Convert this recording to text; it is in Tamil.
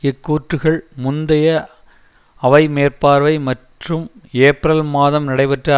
இக்கூற்றுக்கள் முந்தைய அவை மேற்பார்வை மற்றும் ஏப்ரல் மாதம் நடைபெற்ற